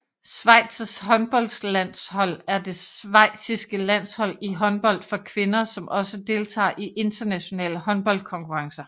Schweizs håndboldlandshold er det schweiziske landshold i håndbold for kvinder som også deltager i internationale håndboldkonkurrencer